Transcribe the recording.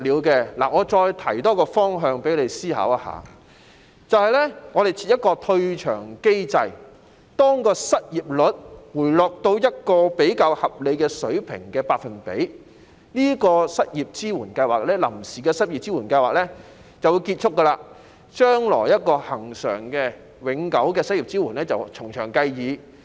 我再提出一個方向讓你思考，就是設立一個退場機制，當失業率回落到一個比較合理的百分比時，這項臨時的支援失業計劃便會結束，將來如何提供恆常及永久的失業支援可以從詳計議。